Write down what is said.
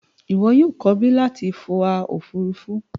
O yoo ko bi lati fo a ofurufu!